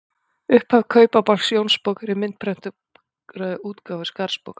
Upphaf Kaupabálks Jónsbókar í myndprentaðri útgáfu Skarðsbókar.